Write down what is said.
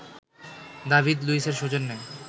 David লুইসের সৌজন্যে